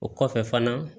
O kɔfɛ fana